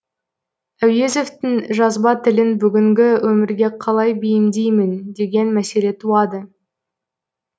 әуезовтің жазба тілін бүгінгі өмірге қалай бейімдеймін деген мәселе туады